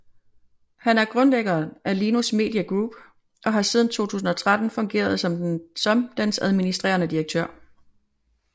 Han er grundlæggeren af Linus Media Group og har siden 2013 fungeret som dens administrerende direktør